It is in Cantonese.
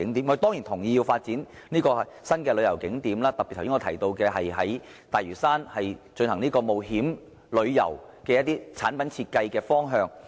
我們當然同意要發展新的旅遊景點，我剛才特別提到在大嶼山進行冒險旅遊的產品設計方向。